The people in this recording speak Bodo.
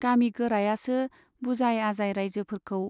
गामि गोरायासो बुजाय आजाय राइजोफोरखौ